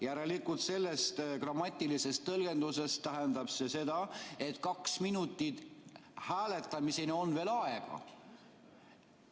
Järelikult, selles grammatilises tõlgenduses tähendab see seda, et kaks minutit on hääletamiseni veel aega.